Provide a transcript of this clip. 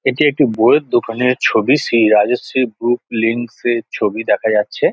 এটি একটি বইয়ের দোকানের ছবি শ্রী রাজশ্রী বুক লিঙ্কস -এর ছবি দেখা যাচ্ছে।